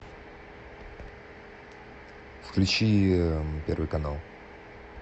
включи первый канал